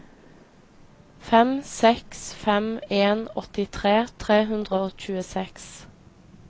fem seks fem en åttitre tre hundre og tjueseks